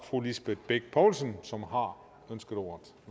fru lisbeth bech poulsen som har ønsket ordet